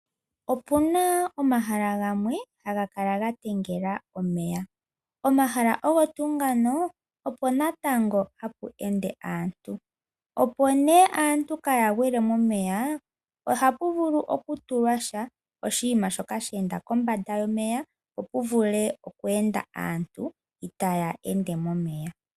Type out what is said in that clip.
Opu na omahala gamwe haga kala ga tengela omeya. Omahala ogo tuu ngano opo natango hapu ende aantu. Opo nduno aantu kaaya gwile momeya, ohapu vulu okutulwa sha oshinima shoka she enda kombanda yomeya, opo pu vule oku enda aantu itaya ende momeya.